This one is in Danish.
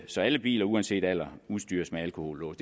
så alle biler uanset alder udstyres med alkohollås